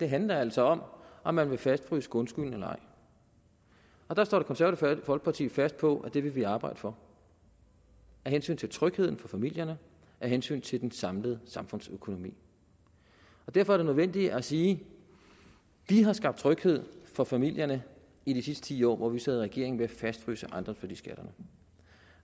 handler altså om om man vil fastfryse grundskylden eller ej og der står det konservative folkeparti fast på at det vil vi arbejde for af hensyn til trygheden for familierne af hensyn til den samlede samfundsøkonomi derfor er det nødvendigt at sige vi har skabt tryghed for familierne i de sidste ti år hvor vi sad i regering ved at fastfryse ejendomsværdiskatterne